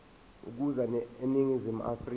ukuza eningizimu afrika